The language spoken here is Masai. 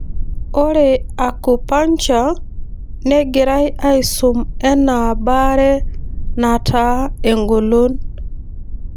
Ore Acupuncture negirae aisum enaa baree nataa engolon.